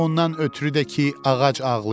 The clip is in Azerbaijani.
Ondan ötrü də ki, ağac ağlayır.